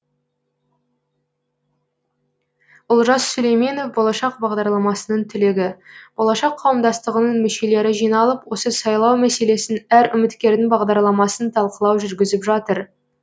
олжас сүлейменов болашақ бағдарламасының түлегі болашақ қауымдастығының мүшелері жиналып осы сайлау мәселесін әр үміткердің бағдарламасын талқылау жүргізіп жатыр